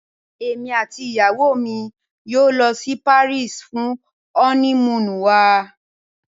Emi ati iyawo mi yoo lọ si Paris fun ọni-muunu wa